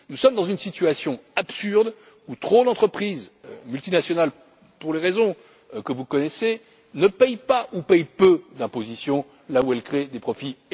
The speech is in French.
Nous sommes dans une situation absurde où trop d'entreprises multinationales, pour les raisons que vous connaissez, ne paient pas, ou paient peu d'impôts là où elles créent des